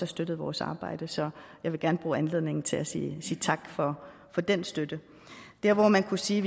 støttet vores arbejde så jeg vil gerne bruge anledningen til at sige tak for den støtte der hvor man kunne sige